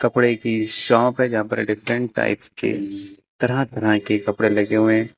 कपड़े की शॉप है जहां पर डिफरेंट टाइप्स के तरह तरह के कपड़े लगे हुए हैं।